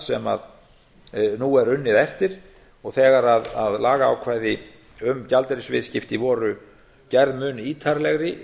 sem nú er unnið eftir og þegar lagaumgjörð um gjaldeyrisviðskipti voru gerð mun ítarlegri